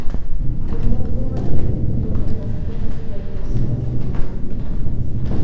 Jomoko ma nigi tuwono ok bed gi ranyisi mar tuwono.